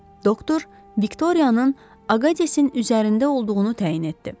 Doktor Viktoriyanın Aqadesin üzərində olduğunu təyin etdi.